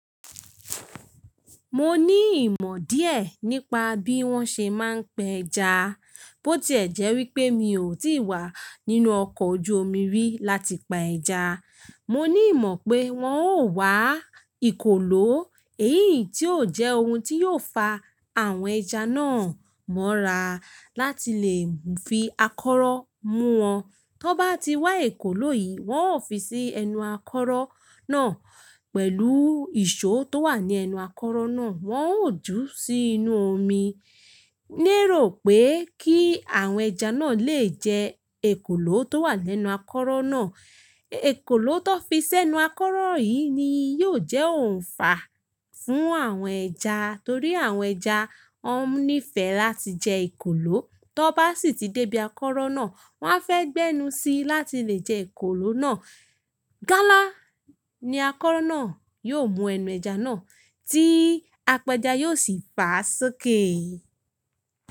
Mo ní ìmọ̀ díẹ̀ nípa bí wọ́n ṣe máa ń pa ẹja. Bótí ẹ̀jẹ́ wípé mi ò tí wà nínú ọkọ̀ ojú omi rí láti pa ẹja. Mo ní ìmọ̀ pé wọ́n ó wá ìkòlò, èyí tí yóò jẹ́ ohun tí yóò fa àwọn ẹja náà mọ́ra láti lè fi akọ́rọ́ mú wọn. Tọ bá ti wá ìkòlò yìí, wọ́n ó fi sí ẹnu akọ́rọ́ náà pẹ̀lú ìṣó tó wà ní ẹnu akọ́rọ́ náà. Wọ́n ó jù ú sí inú omi. Ní èrò pé kí àwọn ẹja náà lè jẹ ìkòlò tó wà lẹ́nu akọ́rọ́ náà. Ìkòlò tó fi sẹ́nu akọ́rọ́ yìí ni yóò jẹ́ ohun fàá fún àwọn ẹja torí àwọn ẹja ó nífẹ̀ẹ́ láti jẹ ìkòlò. Tọ bá sì ti dé ibi akọ́rọ́ náà, wọ́n á fẹ́ gbẹ́nu síi láti lè jẹ ìkòlò náà. Gálà ni akọ́rọ́ náà yóò mú ẹnu ẹja náà tí apẹja yóò sì fa sọ́kè.